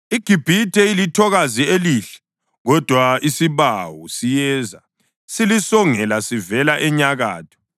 IGibhithe ilithokazi elihle, kodwa isibawu siyeza silisongela sivela enyakatho.